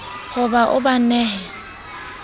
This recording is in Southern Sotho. ho ba o ba nehe